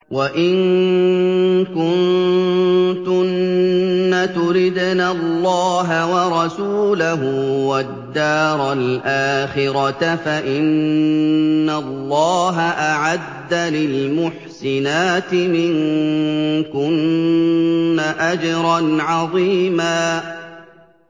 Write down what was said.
وَإِن كُنتُنَّ تُرِدْنَ اللَّهَ وَرَسُولَهُ وَالدَّارَ الْآخِرَةَ فَإِنَّ اللَّهَ أَعَدَّ لِلْمُحْسِنَاتِ مِنكُنَّ أَجْرًا عَظِيمًا